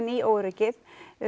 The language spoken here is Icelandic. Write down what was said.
í óöryggið